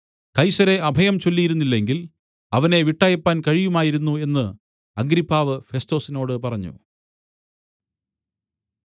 കൈസരെ അഭയം ചൊല്ലിയിരുന്നില്ലെങ്കിൽ അവനെ വിട്ടയപ്പാൻ കഴിയുമായിരുന്നു എന്ന് അഗ്രിപ്പാവ് ഫെസ്തൊസിനോടു പറഞ്ഞു